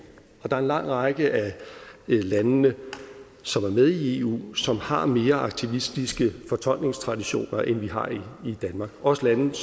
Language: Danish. der er en lang række af de lande som er med i eu som har mere aktivistiske fortolkningstraditioner end vi har i danmark også lande